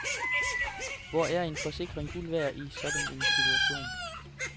Hvor er en forsikring guld værd i sådan en situation.